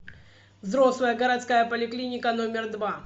взрослая городская поликлиника номер два